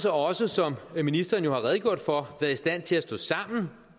også som ministeren jo har redegjort for været i stand til at stå sammen